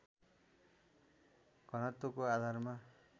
घनत्वको आधारमा